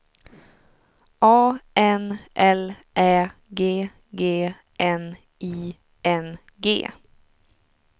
A N L Ä G G N I N G